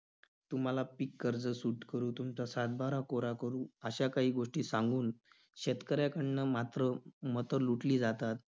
तुम्हाला पीक कर्ज सूट करू, तुमचा सात-बारा कोरा करू अश्या काही गोष्टी सांगून शेतकऱ्याकडनं मात्र मतं लुटली जातात.